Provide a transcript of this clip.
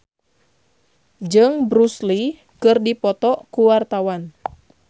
Widy Soediro Nichlany jeung Bruce Lee keur dipoto ku wartawan